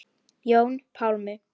Jón Pálmi.